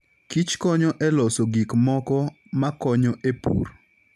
Kich konyo e loso gik moko makonyo e pur.